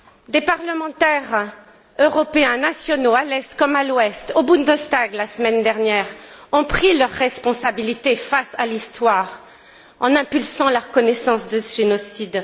Des parlementaires européens, nationaux, à l'Est comme à l'Ouest, au Bundestag, la semaine dernière, ont pris leurs responsabilités face à l'histoire en impulsant la reconnaissance de ce génocide.